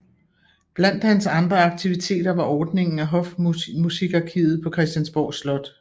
Blandt hans andre aktiviteter var ordningen af Hofmusikarkivet på Christiansborg Slot